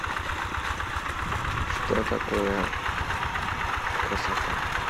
что такое красота